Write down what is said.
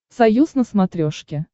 союз на смотрешке